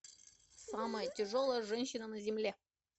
самая тяжелая женщина на земле